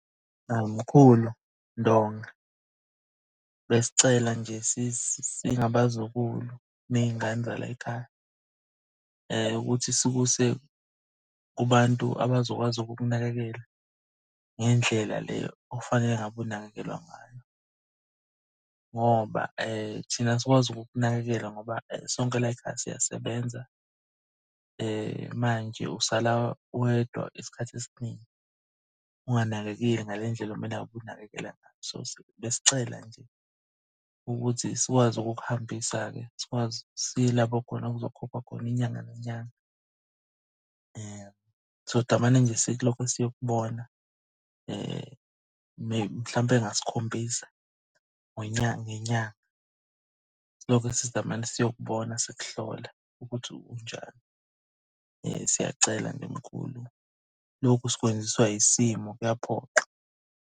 Awu mkhulu Ndonga, besicela nje singabazukulu ney'ngane zalayikhaya ukuthi sikuse kubantu abazokwazi ukukunakekela. Ngendlela le ofanele ngabe unakekelwa ngayo, ngoba thina asikwazi ukukunakekela ngoba sonke layikhaya siyasebenza manje usala wedwa isikhathi esiningi unganakekeli ngale ndlela okumele ngabe unakekela ngayo. So besicela nje ukuthi sikwazi ukukuhambisa-ke. Sikwazi siye lapho khona okuzokhokhwa khona inyanga nenyanga. Sodamane nje silokho siyokubona, mhlampe ngasikhombisa ngenyanga. Silokhe sidamane siyokubona sikuhlola ukuthi unjani. Siyacela nje mkhulu, lokhu sikwenziswa yisimo kuyaphoqa.